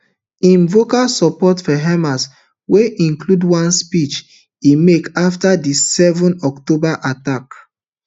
im vocal support for hamas wey include one speech e make afta di seven october attacks